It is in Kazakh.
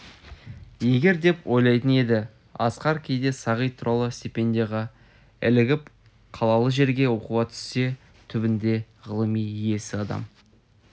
егер деп ойлайтын еді асқар кейде сағит туралы стипендияға ілігіп қалалы жерге оқуға түссе түбінде ғылым иесі адам